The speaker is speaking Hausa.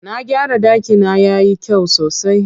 Na gyara ɗakina yayi kyau sosai.